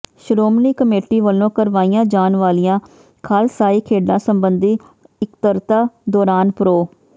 Shiromani committee ਵੱਲੋਂ ਕਰਵਾਈਆਂ ਜਾਣ ਵਾਲੀਆਂ ਖਾਲਸਾਈ ਖੇਡਾਂ ਸਬੰਧੀ ਇਕੱਤਰਤਾ ਦੌਰਾਨ ਪ੍ਰੋ